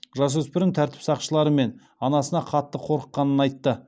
жасөспірім тәртіп сақшылары мен анасына қатты қорыққанын айтты